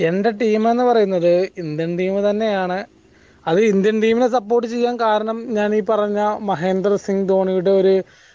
എന്റെ team ന്ന് പറയുന്നത് indian team support ചെയ്യാൻ കാരണം ഞാൻ ഈ പറഞ്ഞ മഹേന്ദ്ര സുങ് ധോണിയുടെ ഒരു